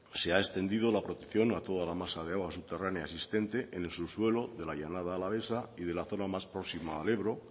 se ha extendido la protección a toda la masa de agua subterránea existente en el subsuelo de la llanada alavesa y de la zona más próxima al ebro